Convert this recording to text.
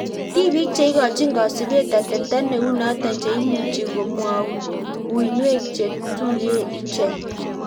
Tipik cheikochin kasupeet ateptoo neu notok cheimuchii komwaun uinwek chetuyee ichek